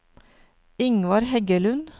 Ingvar Heggelund